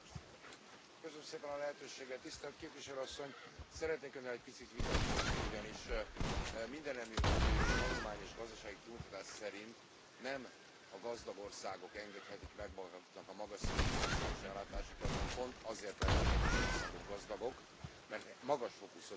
Tisztelt Képviselő Asszony, szeretnék Önnel egy picit vitatkozni, ugyanis mindennemű tanulmány és gazdasági kimutatás szerint nem a gazdag országok engedhetik meg maguknak a magas szintű szociális ellátásokat, hanem pont azért lettek egyes országok gazdagok, mert magas fokú szociális ellátásokat biztosítottak.